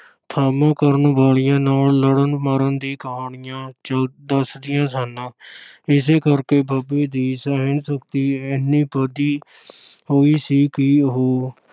ਧਾਵਾ ਕਰਨ ਵਾਲਿਆਂ ਨਾਲ ਲੜਨ-ਮਰਨ ਦੀ ਕਹਾਣੀਆਂ ਚ~ ਦੱਸਦੀਆਂ ਸਨ ਇਸੇ ਕਰਕੇ ਬਾਬੇ ਦੀ ਸਹਿਣ-ਸ਼ਕਤੀ ਇੰਨੀ ਵਧੀ ਹੋਈ ਸੀ ਕਿ ਉਹ